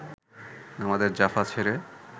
আমাদের জাফা ছেড়ে